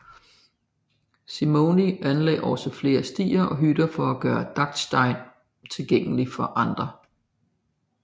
Simony anlagde også flere stier og hytter for at gøre Dachstein tilgængelig for andre